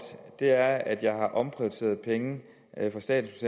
er at jeg har omprioriteret penge fra statens